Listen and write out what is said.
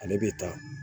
Ale bɛ ta